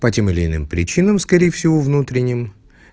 по тем или иным причинам скорее всего внутренним